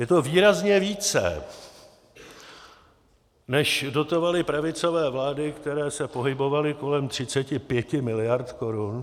Je to výrazně více, než dotovaly pravicové vlády, které se pohybovaly kolem 35 mld. korun.